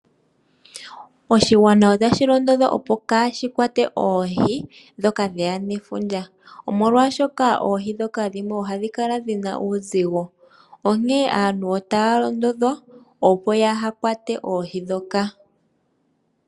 Oshigwana otashi londodhwa opo kaashi kwate oohi ndhoka dhe ya nefundja, molwashoka oohi ndhoka dhimwe ohadhi kala dhi na uuzigo. Onkene aantu otaya londodhwa, opo kaaya kwate oohi ndhoka.